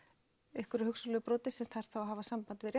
einhverju hugsanlegu broti sem þarf þá að hafa samband við